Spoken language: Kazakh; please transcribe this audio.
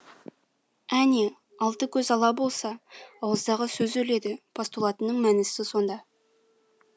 әне алты көз ала болса ауыздағы сөз өледі постулатының мәнісі сонда